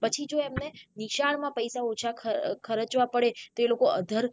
પછી જો એમને નિશાળો માં પૈસા ઓછા અ ખરચવા પડે તો એ લોકો other